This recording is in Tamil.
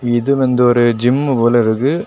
இது வந்து ஒரு ஜிம்மு போல இருக்கு.